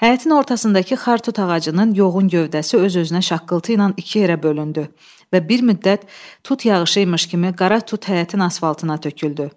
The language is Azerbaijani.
Həyətin ortasındakı xar tut ağacının yoğun gövdəsi öz-özünə şaqqıltı ilə iki yerə bölündü və bir müddət tut yağışıymış kimi qara tut həyətin asfaltına töküldü.